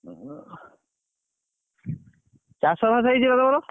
ଉଁ ହା ଚାଷ ବାସ ହେଇଛି ବା ତମର?